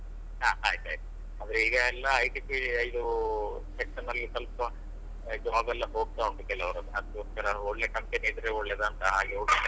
ಹಾ ಆಯ್ತ್ ಆಯ್ತು ಅಂದ್ರೆ ಈಗ ಎಲ್ಲ IT ಇದೂ section ಲ್ಲಿ ಸ್ವಲ್ಪ ಈ job ಎಲ್ಲ ಹೋಗ್ತವುಂಟು ಕೆಲವ್ರದ್ದು ಅದ್ಕೊಸ್ಕರ ಒಳ್ಳೆ company ಇದ್ರೆ ಒಳ್ಳೇದ್ ಅಂತ ಹಾಗೆ.